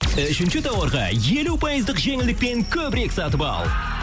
үшінші тауарға елу пайыздық жеңілдікпен көбірек сатып ал